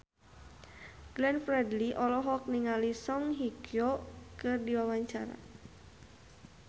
Glenn Fredly olohok ningali Song Hye Kyo keur diwawancara